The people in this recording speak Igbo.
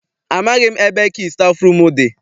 Amaghị m ebe kii stafụrum dị.